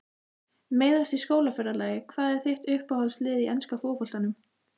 Meiðast í skólaferðalagi Hvað er þitt uppáhaldslið í enska boltanum?